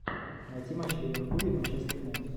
найти матч ливерпуля и манчестер юнайтед